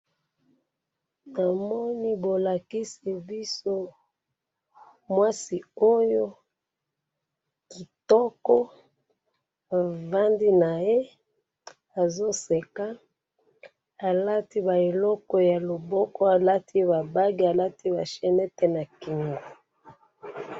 tomoni bolakisi biso mwasi oyo kitoko avandi naye azo seka alati ba eloko ya loboko alati ba bague alati ba chenette na kingo